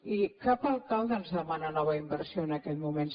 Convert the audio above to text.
i cap alcalde ens demana nova inversió en aquests moments